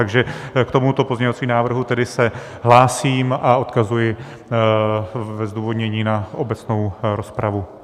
Takže k tomuto pozměňovacímu návrhu se tedy hlásím a odkazuji ve zdůvodnění na obecnou rozpravu.